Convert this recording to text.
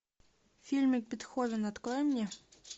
фильмик бетховен открой мне